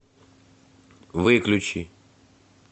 выключи